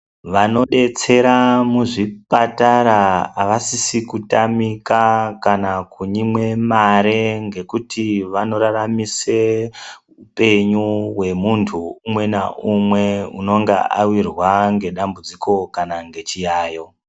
Vanodetsera muzvipatara awasisi kutamika kana kunyimwe mare ngekuti wanoraramise upenyu we muntu umwe naumwe unonga awirwa ngedambudziko kana ngechiyayo.